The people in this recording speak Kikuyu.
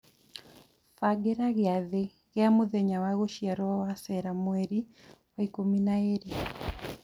bagĩra giathĩ gia mũthenya wa gũciarwo wa Sarah Mweri wa ikũmi na ĩĩrĩ